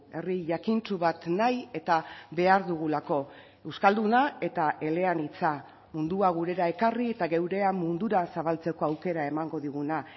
herri jakintsu bat nahi eta behar dugulako euskalduna eta eleanitza mundua gurera ekarri eta geurea mundura zabaltzeko aukera emango diguna